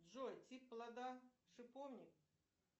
джой тип плода шиповник